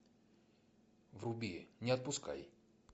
вруби не отпускай